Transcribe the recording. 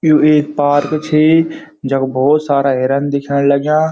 यु एक पार्क छी जख भोत सारा हिरन दिखेंण लग्याँ।